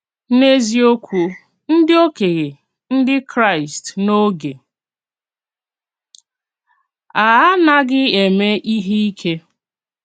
N’eziòkwù, ndí òkènye Ndí Kraịst n’ógè a ànàghì emè íhè ìké.